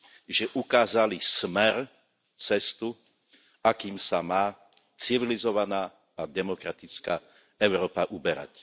že ukázali smer, cestu, akým sa má civilizovaná a demokratická Európa uberať.